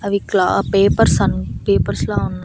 అవి క్లా papers on papers లా ఉన్నా --